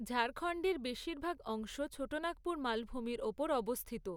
ঝাড়খণ্ডের বেশিরভাগ অংশ ছোটনাগপুর মালভূমির ওপর অবস্থিত।